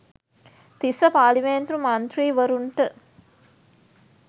තිස්‌ස පාර්ලිමේන්තු මන්ත්‍රීවරුන්ට